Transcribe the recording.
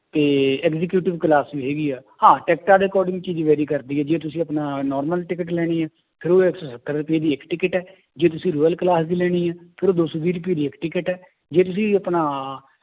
ਤੇ executive class ਵੀ ਹੈਗੀ ਹੈ, ਹਾਂ ਟਿੱਕਟਾਂ ਦੇ according ਚ ਹੀ vary ਕਰਦੀ ਹੈ ਜੇ ਤੁਸੀਂ ਆਪਣਾ normal ਟਿਕਟ ਲੈਣੀ ਹੈ ਫਿਰ ਉਹਦੀ ਇੱਕ ਸੱਤਰ ਰੁਪਏ ਦੀ ਇੱਕ ਟਿਕਟ ਹੈ ਜੇ ਤੁਸੀਂ royal class ਦੀ ਲੈਣੀ ਹੈ, ਫਿਰ ਉਹ ਦੋ ਸੌ ਵੀਹ ਰੁਪਏ ਦੀ ਇੱਕ ਟਿਕਟ ਹੈ ਜੇ ਤੁਸੀਂ ਆਪਣਾ